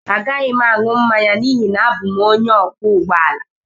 Agaghị m aṅụ mmanya n'ihi na abụ m onye ọkwọ ụgbọ ala